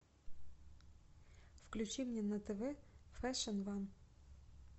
включи мне на тв фэшн ван